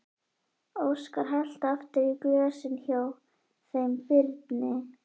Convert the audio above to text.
Óskar hellti aftur í glösin hjá þeim Birni.